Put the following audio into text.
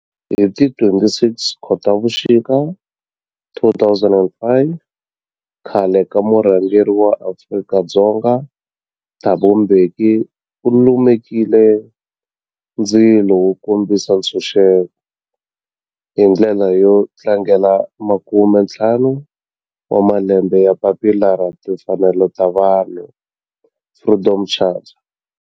Hi ti 26 Khotavuxika 2005 khale ka murhangeri wa Afrika-Dzonga Thabo Mbeki u lumekile ndzilo wo kombisa ntshuxeko, hi ndlela yo tlangela makumentlhanu wa malembe ya papila ra timfanelo, Freedom Charter.